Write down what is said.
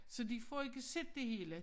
Så de får ikke set det hele